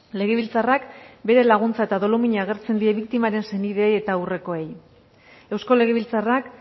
legebiltzarrak bere laguntza eta dolumina agertzen die biktimaren senideei eta aurrekoei eusko legebiltzarrak